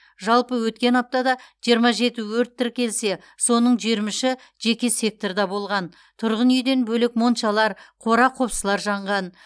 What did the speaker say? жалпы өткен аптада жиырма жеті өрт тіркелсе соның жиырма үші жеке секторда болған тұрғын үйден бөлек моншалар қора қопсылар жанған